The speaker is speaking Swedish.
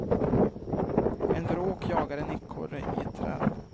En vråk jagar en ekorre i ett träd.